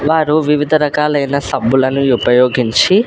వారు వివిధ రకాలైన సబ్బులను యుపయోగించి .